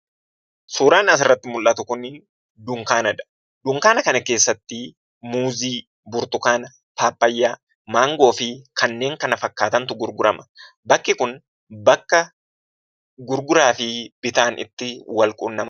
Suuraan asirraatti mul'atu Kun dunkaanadha. dunkaana kana keessatti muuzii, burtukaana, paappayyaa, maangoo fi kanneen kana fakkaatantu gurgurama. Bakki Kun bakka gurguraa fi bitaan itti wal quunnamudha.